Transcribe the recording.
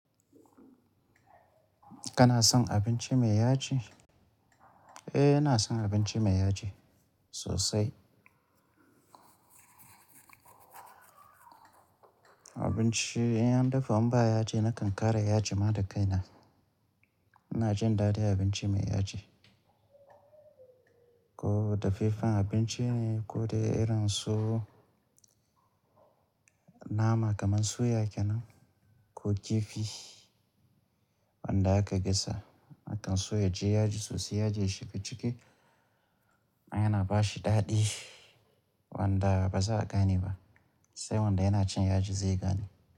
Kana son abinci mai yaji? Eh, ina son abinci mai yaji sosai. Abinci in an dafa in ba yaji nakan ƙara yaji ma da kaina. Ina jin daɗin abinci mai yaji. Ko dafeffan abinci ne ko dai irin su nama kamar suya kenan ko kifi wanda aka gasa. A kan so ya ji yaji sosai, yaji ya shiga ciki, don yana bashi daɗi wanda ba za a gane ba, sai wanda yana cin yaji zai gane.